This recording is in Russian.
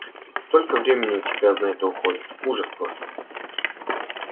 столько времени у тебя на это уходит ужас просто